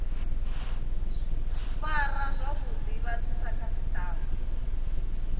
fara zwavhuḓi vhathu sa khasiṱama